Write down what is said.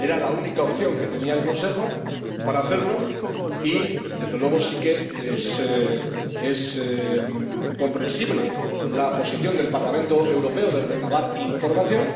Era la única opción que tenía el Consejo para hacerlo y, desde luego, sí que es comprensible la posición del Parlamento Europeo de recabar información.